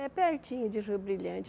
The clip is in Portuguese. É pertinho de Rio Brilhante.